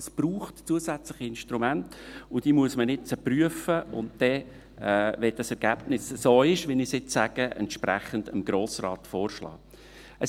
Es braucht zusätzliche Instrumente, und diese muss man jetzt prüfen und dann, wenn das Ergebnis so ist, wie ich es jetzt sage, dem Grossen Rat Entsprechendes vorschlagen.